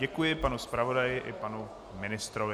Děkuji panu zpravodaji i panu ministrovi.